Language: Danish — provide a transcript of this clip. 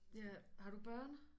Ja har du børn